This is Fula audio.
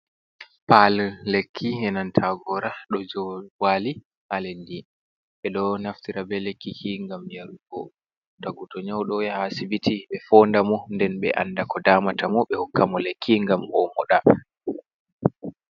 Paalel lekki e nanta gora ɗo joo wali ha leddi. Ɓe ɗo naftira be lekkiki ngam yarugo. Tagu to nyauɗo yaha asbiti ɓe foonda mo nden ɓe anda ko damata mo ɓe hokka mo lekki ngam o muɗa.